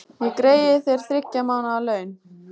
Ég greiði þér þriggja mánaða laun.